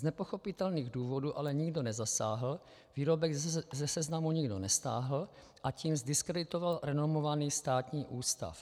Z nepochopitelných důvodů ale nikdo nezasáhl, výrobek ze seznamu nikdo nestáhl, a tím zdiskreditoval renomovaný státní ústav.